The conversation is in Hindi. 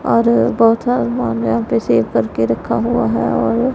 और बहुथा सामान यहां पे सेव करके रखा हुआ है और--